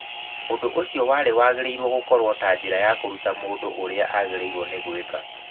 ũndũ ũcio warĩ wagĩrĩirwo gũkorwo ta njĩra ya kũruta mũndũ ũrĩa agĩrĩirwo nĩ gwĩka.